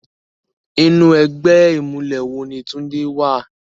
Inú ègbè imúlè wó ni Tunde wá?